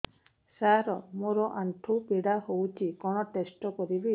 ସାର ମୋର ଆଣ୍ଠୁ ପୀଡା ହଉଚି କଣ ଟେଷ୍ଟ କରିବି